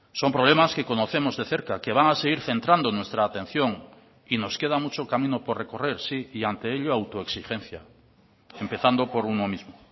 son problemas que conocemos de cerca que van a seguir centrando nuestra atención y nos queda mucho camino por recorrer sí y ante ello autoexigencia empezando por uno mismo